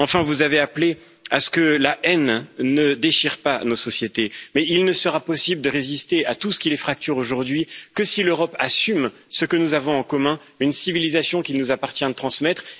Enfin, vous avez appelé à ce que la haine ne déchire pas nos sociétés, mais il ne sera possible de résister à tout ce qui les fracture aujourd'hui que si l'Europe assume ce que nous avons en commun une civilisation qu'il nous appartient de transmettre.